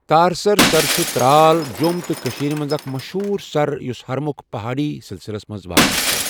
ٹارسَر سَر چھُ ترال، جۆم تہٕ کٔشیٖرِ منٛز اَكھ مَشہوٗر سَر یۄس ہَرمُکھ پَہأڈی سِلسِلس منٛز واقَہ چھُ